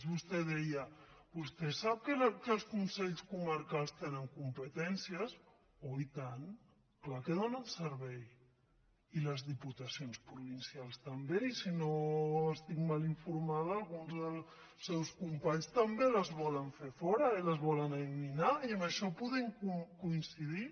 vostè deia vostè sap que els consells comarcals tenen competències oh i tant clar que donen servei i les diputacions provincials també i si no estic mal informada alguns dels seus companys també les volen fer fora i les voles eliminar i en això podem coincidir